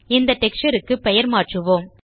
இந்த டெக்ஸ்சர் க்கு பெயர்மாற்றுவோம்